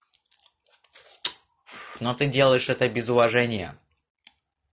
но ты делаешь это без уважения